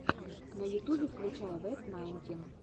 на ютубе включай вэт найнтин